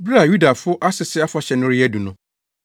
Bere a Yudafo Asese Afahyɛ no reyɛ adu no,